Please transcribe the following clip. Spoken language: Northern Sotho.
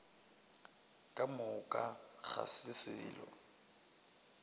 ka moka ga se selo